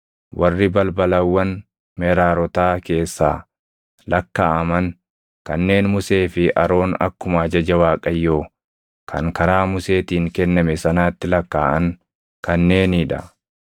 Warri balbalawwan Meraarotaa keessaa lakkaaʼaman kanneen Musee fi Aroon akkuma ajaja Waaqayyoo kan karaa Museetiin kenname sanaatti lakkaaʼan kanneenii dha.